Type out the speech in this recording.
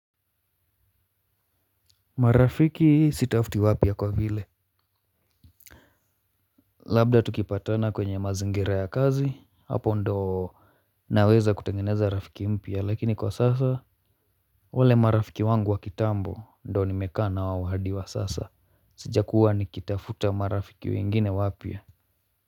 Marafiki hii sitafuti wapya kwa vile labda tukipatana kwenye mazingira ya kazi hapo ndoo naweza kutengeneza rafiki mpya lakini kwa sasa wale marafiki wangu wa kitambo ndo nimekaa na wao wadi wa sasa. Sijakuwa nikitafuta marafiki wengine wapya.